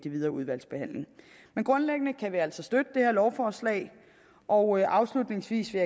videre udvalgsbehandling men grundlæggende kan vi altså støtte det her lovforslag og afslutningsvis vil